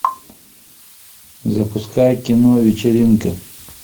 запускай кино вечеринка